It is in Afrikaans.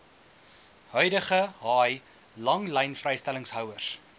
huidige haai langlynvrystellingshouers